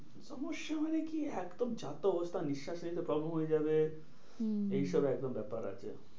সমস্যা মানে কি একদম যা তা অবস্থা নিঃস্বাস নিতে problem হয়ে যাবে। হম হম এইসব একদম ব্যাপার আছে।